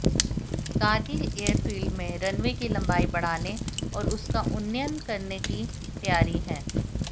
Kargil airfield में runway की लम्बाई बढ़ाने और उसका उन्नयन किए जाने की तैयारी है